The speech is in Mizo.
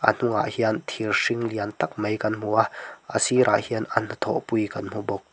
a hnunga hian thir hring lian tak mai kan hmu a a sirah hian an hnathawh pui kan hmu bawk.